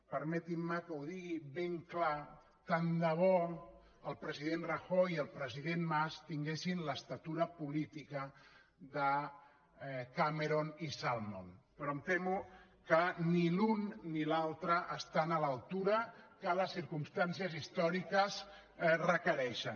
permetin me que ho digui ben clar tant de bo que el president rajoy i el president mas tinguessin l’alçada política de cameron i salmond però em temo que ni l’un ni l’altre estan a l’alçada que les circumstàncies històriques requereixen